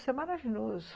Isso é maravilhoso.